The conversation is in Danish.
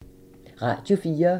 Radio 4